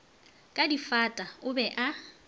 ka difata o be a